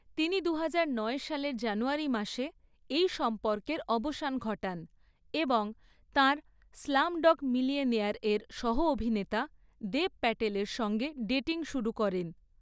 তিনি দুহাজার নয় সালের জানুয়ারি মাসে, এই সম্পর্কের অবসান ঘটান, এবং তাঁর 'স্লামডগ মিলিয়নেয়ার' এর সহ অভিনেতা দেব প্যাটেলের সঙ্গে ডেটিং শুরু করেন।